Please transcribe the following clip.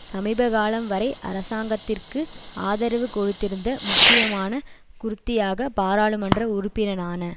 சமீபகாலம் வரை அரசாங்கத்திற்கு ஆதரவு கொடுத்திருந்த முக்கியமான குர்தியாக பாராளுமன்ற உறுப்பினரான